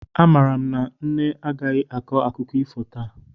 Amaara m na nne agaghị akọ akụkọ ifo taa